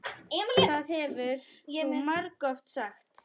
Það hefur þú margoft sagt.